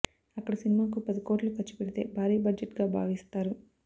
అక్కడ సినిమాకు పది కోట్లు ఖర్చు పెడితే భారీ బడ్జెట్గా భావిస్తారు